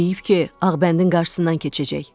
Deyib ki, Ağbəndin qarşısından keçəcək.